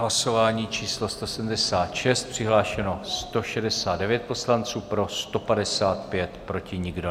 Hlasování číslo 176, přihlášeno 169 poslanců, pro 155, proti nikdo.